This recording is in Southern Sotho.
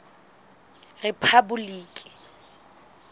rephaboliki